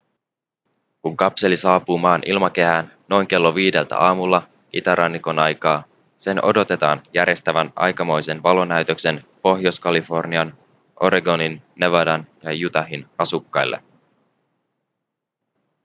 kun kapseli saapuu maan ilmakehään noin kello viideltä aamulla itärannikon aikaa sen odotetaan järjestävän aikamoisen valonäytöksen pohjois-kalifornian oregonin nevadan ja utahin asukkaille